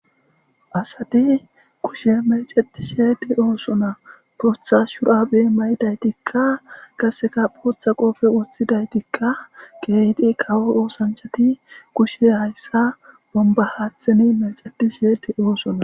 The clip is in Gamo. Asadi kushe meceti sheedi oosona pootha shuraabe may'idaytikka qaseka phootha qoofe uthidaytikka geyqi qawo oosanchati kushe hayssa bomba haatheni meceti sheedi oosona.